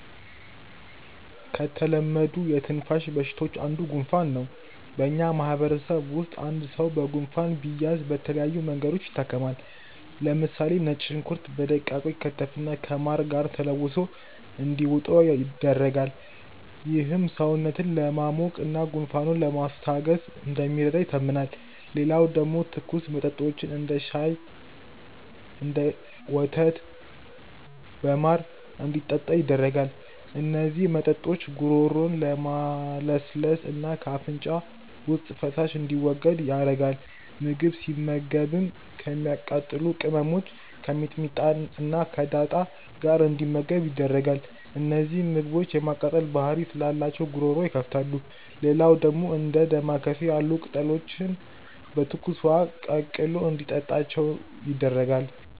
ከተለመዱ የትንፋሽ በሽታዎች አንዱ ጉንፋን ነው። በእኛ ማህበረሰብ ውስጥ አንድ ሰው በጉንፋን ቢያዝ በተለያዩ መንገዶች ይታከማል። ለምሳሌ ነጭ ሽንኩርት በደቃቁ ይከተፍና ከማር ጋር ተለውሶ እንዲውጠው ይደረጋል። ይህም ሰውነትን ለማሞቅ እና ጉንፋኑን ለማስታገስ እንደሚረዳ ይታመናል። ሌላው ደግሞ ትኩስ መጦችን፤ እንደ ቀሽር ሻይ፣ ወተት በማር እንዲጠጣ ይደረጋል። እነዚህ መጠጦች ጉሮሮን ለማለስለስ እና ከአፍንጫ ውስጥ ፈሳሽ እንዲወገድ ያረጋል። ምግብ ሲመገብም ከሚያቃጥሉ ቅመሞች(ከሚጥሚጣ እና ዳጣ) ጋር እንዲመገብ ይደረጋል። እነዚህ ምግቦች የማቃጠል ባህሪ ስላላቸው ጉሮሮ ይከፍታሉ። ሌላው ደግሞ እንደ ዳማከሴ ያሉ ቅጠሎችን በትኩስ ውሀ ቀቅሎ እንዲታጠናቸው ይደረጋል።